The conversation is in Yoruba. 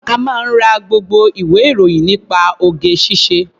Ó máa ń ra gbogbo ìwé-ìròyìn nípa oge-ṣíṣe.